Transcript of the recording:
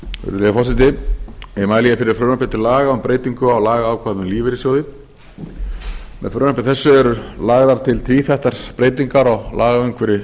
virðulegi forseti ég mæli hér fyrir frumvarpi til laga um breytingu á lagaákvæðum um lífeyrissjóði með frumvarpi þessu eru lagðar til tvíþættar breytingar á lagaumhverfi